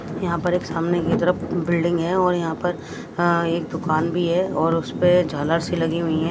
यहां पर एक सामने की तरफ बिल्डिंग है और यहां पर एक दुकान भी है और उसपे झालर सी लगी हुई है।